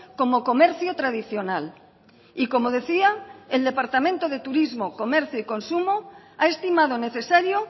como comercio tradicional y como decía el departamento de turismo comercio y consumo ha estimado necesario